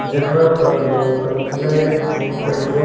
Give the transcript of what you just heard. जहां पर लोग अपने पेट्रोल --